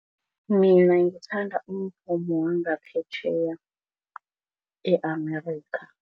Mina ngithanda umvumo wangaphetjheya e-America.